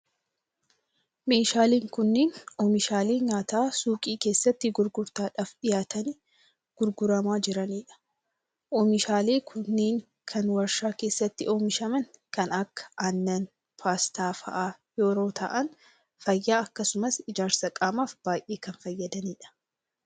Meeshaaleen kunneen, oomishaalee nyaataa suuqii keessatti gurgurtaaf dhiyaatanii gurguramaa jiranii dha. Oomishaaleen kunnneen, kan warshaa keessatti oomishaman kan akka aanan, paastaa faa yeroo ta'an fayyaa akkasumas ijaarsa qaamaaf baay'ee kan fayyadanii dha.